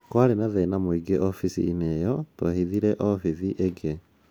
Kwarĩ na thĩna muingĩ obithinĩ ĩiyo ,twebithire obithi ĩĩngĩ.